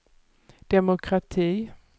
demokrati